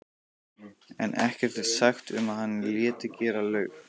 en ekkert er sagt um að hann léti gera laug.